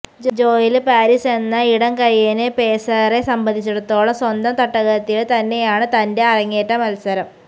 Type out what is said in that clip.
Joel Paris എന്ന ഇടംകയ്യന് പേസറെ സംബന്ധിച്ചിടത്തോളം സ്വന്തം തട്ടകത്തില് തന്നെയാണ് തന്റെ അരങ്ങേറ്റ മത്സരം